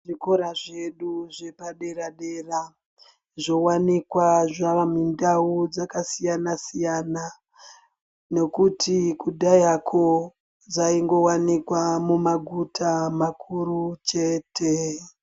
Zvikora zvedu zvepadera -dera, zvowanikwa zvavamindau dzakasiyana-siyana, nokuti kudhayako, dzaingowanika mumaguta makuru chete.